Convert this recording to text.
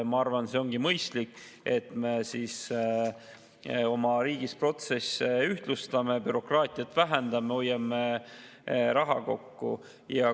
Ma arvan, et see on mõistlik, et me oma riigis protsesse ühtlustame, bürokraatiat vähendame, hoiame raha kokku.